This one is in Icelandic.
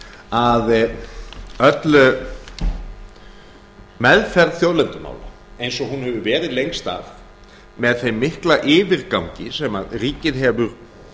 að öll meðferð þjóðlendumála eins og hún hefur verið lengst af með þeim mikla yfirgangi sem ríkið hefur